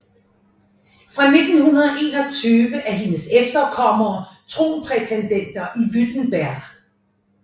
Fra 1921 er hendes efterkommere tronprætendenter i Württemberg